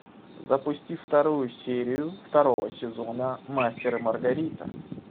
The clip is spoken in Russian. запусти вторую серию второго сезона мастер и маргарита